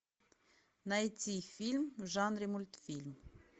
найти фильм в жанре мультфильм